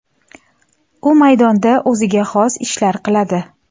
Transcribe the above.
U maydonda o‘ziga xos ishlar qiladi.